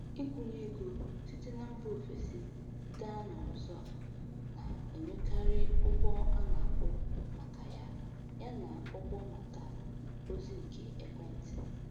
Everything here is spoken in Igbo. Ịkwụnye ego site na mba ofesi gaa n'ọzọ na-enwekarị ụgwọ a na-akwụ maka ya, ya na ụgwọ maka ozị nke ekwentị.